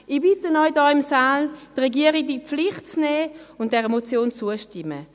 Ich bitte Sie hier im Saal, die Regierung in die Pflicht zu nehmen und der Motion zuzustimmen.